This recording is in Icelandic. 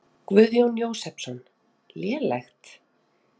Guðjón Jósepsson: Lélegt?